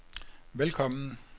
velkommen